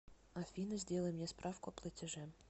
афина сделай мне справку о платеже